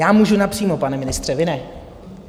Já můžu napřímo, pane ministře, vy ne.